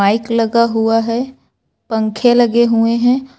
Mic लगा हुआ है पंखे लगे हुए हैं।